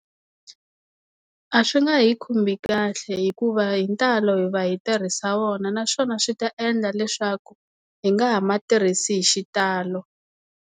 A swi nga hi khomi kahle hikuva hi ntalo hi va hi tirhisa wona naswona swi ta endla leswaku hi nga ha ma tirhisi hi xitalo.